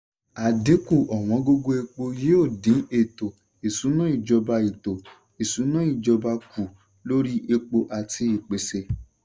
àdínkù ọ̀wọ́ngógó epo yóò dín ètò-ìṣúná ìjọba ètò-ìṣúná ìjọba kù lóri epo àti ìpèsè.